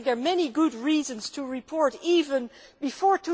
I think there are many good reasons to report, even before